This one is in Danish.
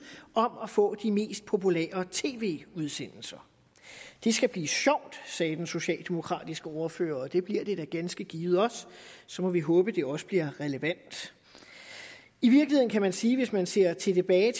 om at få de mest populære tv udsendelser det skal blive sjovt sagde den socialdemokratiske ordfører og det bliver det da ganske givet også så må vi håbe det også bliver relevant i virkeligheden kan man sige hvis man ser tilbage